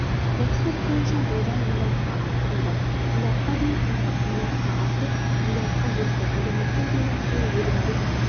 экспорт бойынша болжам млрд-қа арттырылды млрд-қа дейін импорт млрд-қа артып млрд-қа жетті әлеуметтік желі арқылы өлімге